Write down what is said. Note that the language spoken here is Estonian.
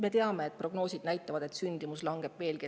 Me teame, et prognoosid näitavad, et sündimus langeb veelgi.